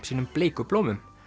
sínum bleiku blómum